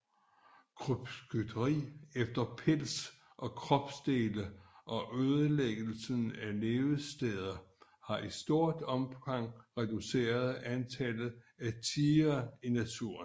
Krybskytteri efter pels og kropsdele og ødelæggelse af levesteder har i stort omfang reduceret antallet af tigre i naturen